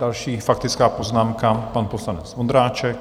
Další faktická poznámka, pan poslanec Vondráček.